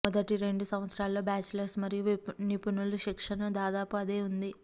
మొదటి రెండు సంవత్సరాలలో బాచిలర్స్ మరియు నిపుణులు శిక్షణను దాదాపు అదే ఉంది